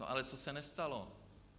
No ale co se nestalo?